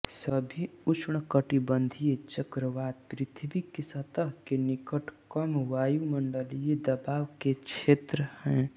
सभी उष्णकटिबंधीय चक्रवात पृथ्वी की सतह के निकट कमवायुमंडलीय दबाव के क्षेत्र हैं